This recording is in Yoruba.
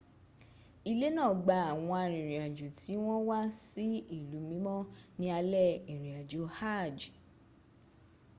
ilé náà gba àwọn arìnrìnàjò tí wọ́n wá sí ilú mímọ́ ní alẹ́ ìrìnàjò hajj